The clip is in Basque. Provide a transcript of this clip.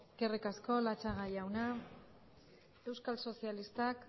eskerrik asko eskerrik asko latxaga jauna euskal sozialistak